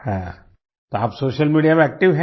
हाँ तो आप सोशल मीडिया में एक्टिव है